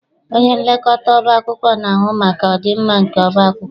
Onyenlekọta ọba akwụkwọ na-ahụ maka ọdịmma nke ọba akwụkwọ.